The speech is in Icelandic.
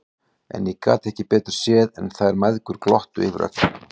En ég gat ekki betur séð en að þær mæðgur glottu yfir öllu saman!